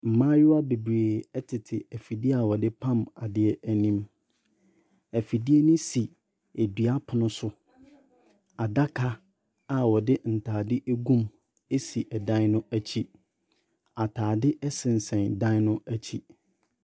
Mmayewa bebree tete afidie a wɔde pam adeɛ anim. Afidie no si dua pono so. Adaka a wɔde ntade agum si dan no akyi. Atade sensɛn dan no akyi.